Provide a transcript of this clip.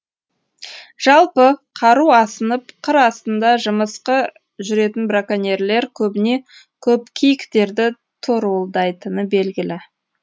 жалпы қару асынып қыр астында жымысқы жүретін браконьерлер көбіне көп киіктерді торуылдайтыны белгілі